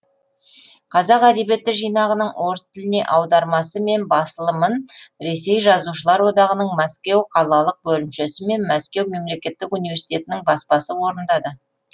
қазақ әдебиеті жинағының орыс тіліне аудармасы мен басылымын ресей жазушылар одағының мәскеу қалалық бөлімшесі мен мәскеу мемлекеттік университетінің баспасы орындады